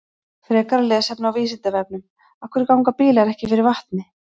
Frekara lesefni á Vísindavefnum: Af hverju ganga bílar ekki fyrir vatni?